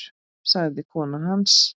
sagði kona hans.